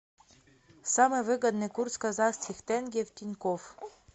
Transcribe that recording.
самый выгодный курс казахских тенге в тинькофф